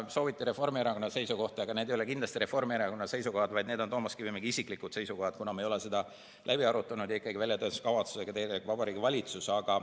Sooviti Reformierakonna seisukohti, aga need ei ole kindlasti Reformierakonna seisukohad, vaid need on Toomas Kivimägi isiklikud seisukohad, kuna me ei ole neid läbi arutanud ja väljatöötamiskavatsusega tegeleb ikkagi Vabariigi Valitsus.